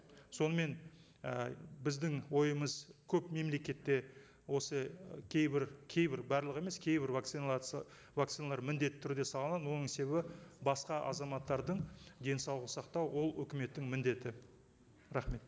сонымен і біздің ойымыз көп мемлекетте осы кейбір кейбір барлығы емес кейбір вакциналарды вакциналар міндетті түрде салынады оның себебі басқа азаматтардың денсаулығын сақтау ол өкіметтің міндеті рахмет